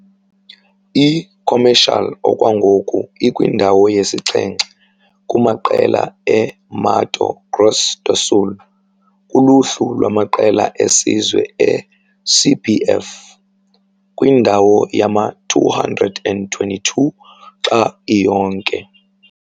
I-Comercial okwangoku ikwindawo yesixhenxe kumaqela e-Mato Grosso do Sul kuluhlu lwamaqela esizwe e-CBF, kwindawo yama-222 xa iyonke.